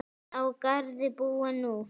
Á Garði búa nú